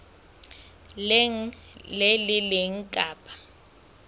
leng le le leng kapa